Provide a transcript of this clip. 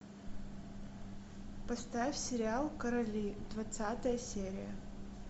поставь сериал короли двадцатая серия